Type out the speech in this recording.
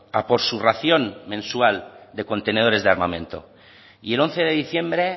a por su ración mensual de contenedores de armamento y el once de diciembre